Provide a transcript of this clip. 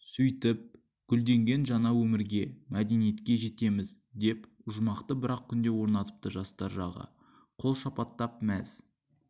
сөйтіп гүлденген жаңа өмірге мәдениетке жетеміз деп ұжмақты бір-ақ күнде орнатыпты жастар жағы қол шапаттап мәз